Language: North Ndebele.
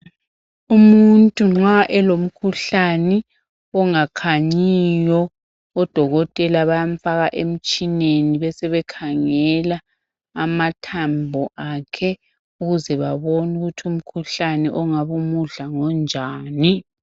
Umuntu nxa elimkhuhlani ongakhanyiyo odokotela bayamfaka emtshineni besebekhangela amathambo akhe ukuze babone ukuthi umkhuhlane ongabumudla ngonjani.